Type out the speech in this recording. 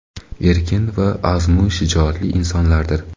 erkin va azmu shijoatli insonlardir.